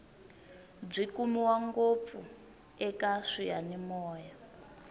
byi kumiwa ngopfu eka swiyanimoya